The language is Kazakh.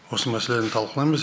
осы мәселені талқылаймыз